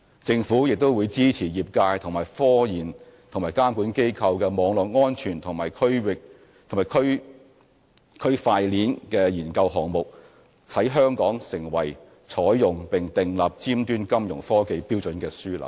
政府也會支持業界與科研和監管機構的網絡安全和區塊鏈研究項目，使香港能成為採用並訂立尖端金融科技標準的樞紐。